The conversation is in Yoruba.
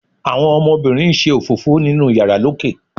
àwọn ọmọbínrín n ṣe òfófó ninu iyàrá lókè